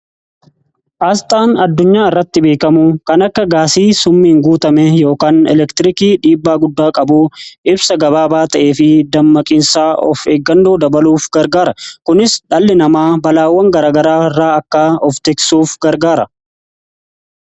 asxaan addunyaa irratti beekamu kan akka gaasii summiin guutame yookaan elektirikii dhiibbaa guddaa qabuu ibsa gabaabaa ta'ee fi dammaqiinsaa of eeggannoo dabaluuf gargaara kunis dhalli namaa balaawwan garagaraa irraa akka of teeksuuf gargaara